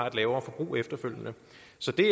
så kan